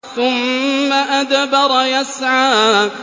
ثُمَّ أَدْبَرَ يَسْعَىٰ